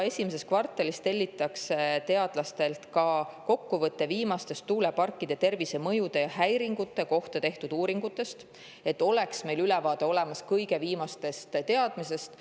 Esimeses kvartalis tellitakse teadlastelt ka kokkuvõte viimastest tuuleparkide tervisemõju ja häiringute kohta tehtud uuringutest, et meil oleks olemas ülevaade kõige viimasest teadmisest.